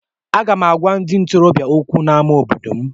Aga m agwa ndị ntorobịa okwu n’ámá obodo m.